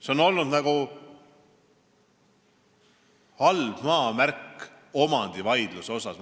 See on olnud nagu omandivaidluse halb maamärk.